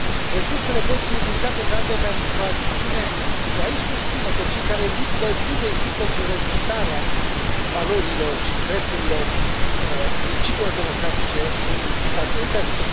Resursele pot fi utilizate, între altele, pentru a i susține pe cei care luptă zi de zi pentru respectarea valorilor și drepturilor și principiilor democratice în statele terțe.